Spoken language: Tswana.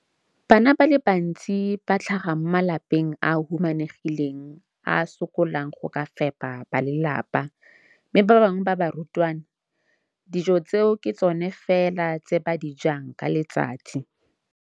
Bana ba le bantsi ba tlhaga mo malapeng a a humanegileng a a sokolang go ka fepa ba lelapa mme ba bangwe ba barutwana, dijo tseo ke tsona fela tse ba di jang ka letsatsi.